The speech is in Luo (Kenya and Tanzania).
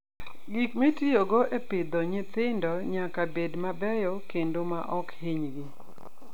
Gik mitiyogo e pidho nyithindi nyaka bed mabeyo kendo maok hinygi.